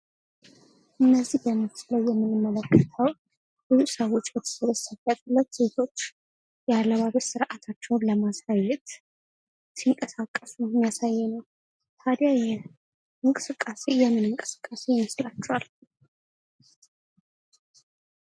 እነዚህ በምስሉ ላይ የምንመለከተው ብዙ ሰው በተሰበሰበበት ሁለት ሴቶች የአለባበስ ሥርዓታቸውን ለማሳየት ሲንቀሳቀሱ የሚያሳይ ነው:: ታዲያ ይህ እንቅስቃሴ የምን እንቅስቃሴ ይመስላችኅል::